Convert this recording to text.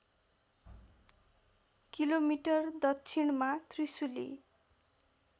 kilometre दक्षिणमा त्रिशूली